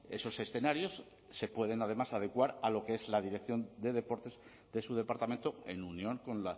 esos escenarios se pueden además adecuar a lo que es la dirección de deportes de su departamento en unión con